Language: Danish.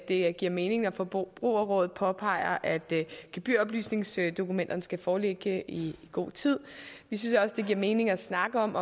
det giver mening at forbrugerrådet påpeger at gebyroplysningsdokumenterne skal foreligge i god tid vi synes også det giver mening at snakke om